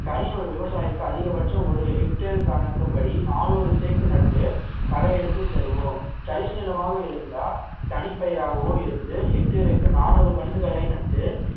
தனி ஒரு விவசாயிக்கு அதிகபட்சம் ஒரு ஹெக்டேர் கணக்குப்படி நானூறு தேக்கு நட்டு களை எடுத்து தருவோம் தரிசுநிலமாக இருந்தால் தனிப்பயிராகவோ இருந்து ஹெக்டேருக்கு நானூறு கன்னுகளை நட்டு